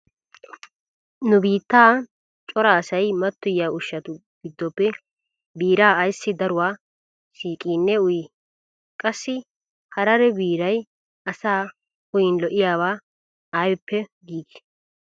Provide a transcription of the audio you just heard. Nu biittan cora asay mattoyiya ushshatu giddoppe biiraa ayssi daruwa siiqiinne uyii? Qassi harare biiray asaa uyiin lo'iyaba aybippe giigii?